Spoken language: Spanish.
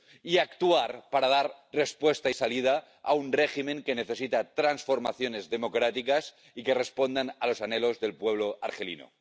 Y actuar para dar respuesta y salida a un régimen que necesita transformaciones democráticas y que respondan a los anhelos del pueblo argelino.